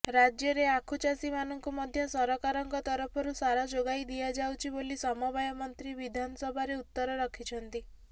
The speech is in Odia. ରାଜ୍ୟରେ ଆଖୁ ଚାଷୀମାନଙ୍କୁ ମଧ୍ୟ ସରକାରଙ୍କ ତରଫରୁ ସାର ଯୋଗାଇଦିଆଯାଉଛି ବୋଲି ସମବାୟ ମନ୍ତ୍ରୀ ବିଧାନସଭାରେ ଉତ୍ତର ରଖିଛନ୍ତି